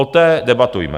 O té debatujme.